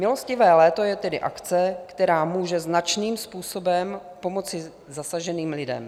Milostivé léto je tedy akce, která může značným způsobem pomoci zasaženým lidem.